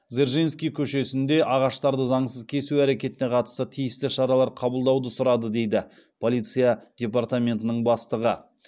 дзержинский көшесінде ағаштарды заңсыз кесу әрекетіне қатысты тиісті шаралар қабылдауды сұрады дейді полиция департаметінің бастығы